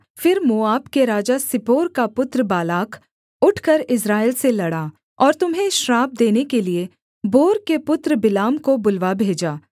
फिर मोआब के राजा सिप्पोर का पुत्र बालाक उठकर इस्राएल से लड़ा और तुम्हें श्राप देने के लिये बोर के पुत्र बिलाम को बुलवा भेजा